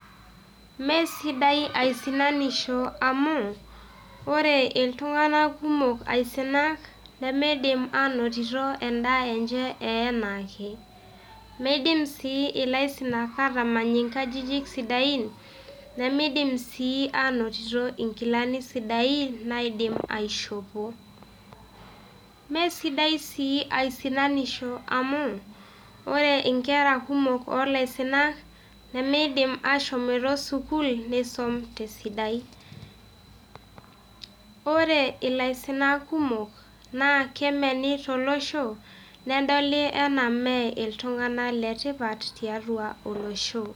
Mme sidai aisinanisho amu ore iltung`anak kumok aisinak nemeidim aanotito en`daa enjee enaake. Meidim sii ilaisinak aatamany nkajijik sidain nemeidim sii aanotito nkilani sidain naidim aishopo. Mme sidai sii aisinanisho amu ore nkera kumok oo laisinak nemeidim ashomoito sukuul nisum te sidai. Ore ilaiinak kumok naa kemeni to losho nedoli enaa mme iltung`anak le tipat tiatua olosho.